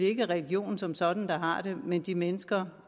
ikke religionen som sådan der har det men de mennesker